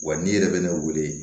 Wa n'i yɛrɛ bɛ ne weele